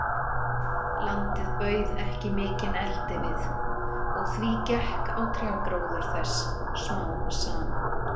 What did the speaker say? Landið bauð ekki mikinn eldivið, og því gekk á trjágróður þess smám saman.